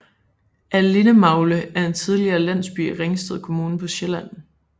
Allindemagle er en tidligere landsby i Ringsted Kommune på Sjælland